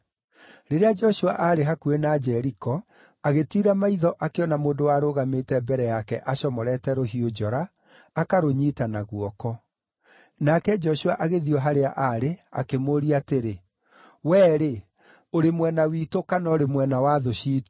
Rĩrĩa Joshua aarĩ hakuhĩ na Jeriko, agĩtiira maitho akĩona mũndũ warũgamĩte mbere yake acomorete rũhiũ njora, akarũnyiita na guoko. Nake Joshua agĩthiĩ o harĩa aarĩ, akĩmũũria atĩrĩ, “Wee-rĩ, ũrĩ mwena witũ kana ũrĩ mwena wa thũ ciitũ?”